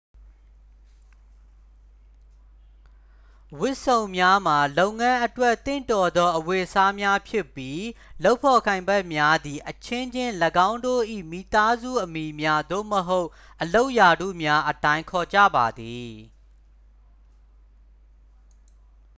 ဝတ်စုံများမှာ လုပ်ငန်းအတွက်သင့်တော်သောအဝတ်အစားများဖြစ်ပြီး လုပ်ဖော်ကိုင်ဖက်များသည် အချင်းချင်း ၎င်းတို့၏မိသားစုအမည်များ သို့မဟုတ် အလုပ်ရာထူးများအတိုင်း ခေါ်ကြပါသည်